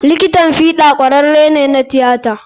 Likitan fiɗa ƙwararre ce ta tiyata.